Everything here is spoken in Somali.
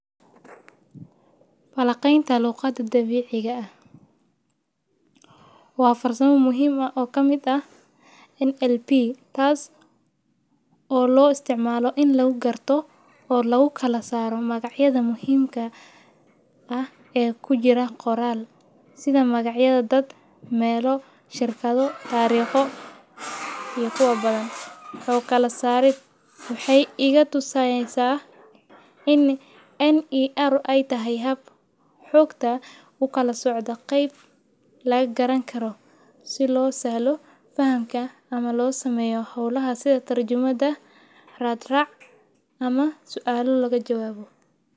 balaqaynta luuqada dabiiciga ah. Waa farso mahiim ah oo ka mida NLP, taas oo loo isticmaalo in lagu garto oo lagu kalasaaro magacyada muhiimka ah ee ku jira qoraal sida magacyada, dad, meelo, shirkadu, taariikho iyo kuwa badan. Ka kala saarid waxay igatu saynaysaa in NER ay tahay hab xogta u kala socda. Qeyb la garan karo si loo saalo fahamka ama loo sameyo howlaha sida tarjumada raad rac ama su'aalu laga jawaabo.